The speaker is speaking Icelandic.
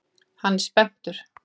Hann er spenntur.